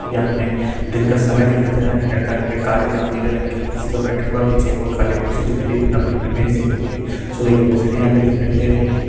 यहाँ हमें दिन का समय दिखाई दे रहा है| लड़का यहाँ पे काले और नीले रंग के कुर्सी पर बैठा हुआ है पीछे एक और खाली कुर्सी दिख रही है| एक लड़के कि इमेज दिख रही है और सूर्य कि रोशनी यहाँ पे दिखाई दे रही हैं।